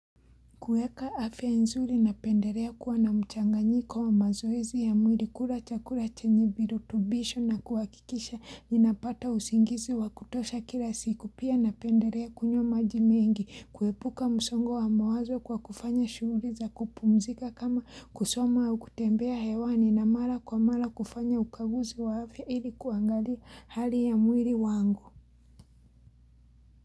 Kueka afia nzuri na penderea kuwa na mchanganyiko wa mazoezi ya mwiri kula chakula chenye virutubisho na kuwakikisha inapata usingizi wa kutosha kila siku pia na penderea kunywa majimengi. Kuepuka msongo wa mawazo kwa kufanya shughuli za kupumzika kama kusoma au kutembea hewani na mala kwa mala kufanya ukaguzi wa afya ili kuangalia hali ya mwiri wangu.